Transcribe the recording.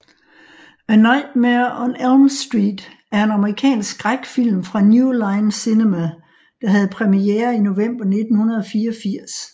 A Nightmare on Elm Street er en amerikansk skrækfilm fra New Line Cinema der havde premiere i november 1984